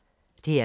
DR K